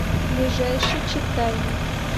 ближайший читайна